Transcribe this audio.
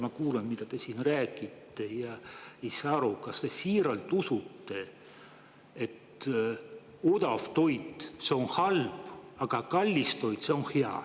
Ma kuulan, mida te siin räägite, ja ei saa aru, kas te siiralt usute, et odav toit on halb, aga kallis toit on hea.